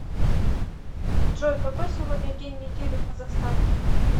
джой какой сегодня день недели в казахстане